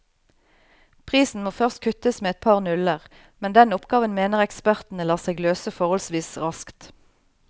Prisen må først kuttes med et par nuller, men den oppgaven mener ekspertene lar seg løse forholdsvis raskt.